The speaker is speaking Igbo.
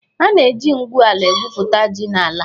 A na-eji ngwu ala egwupụta ji n'ala.